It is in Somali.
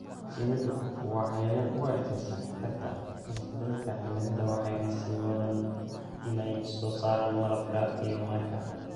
Shinnidu waa cayayaan u adkeysan karta isbedelka cimilada waxayna sii wadaan inay soo saaraan malabka iyo manka.